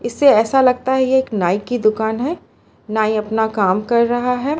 इससे ऐसा लगता है ये एक नाइ की दुकान है नाई अपना काम कर रहा है।